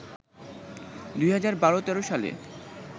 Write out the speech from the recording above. ২০১২-১৩ সালে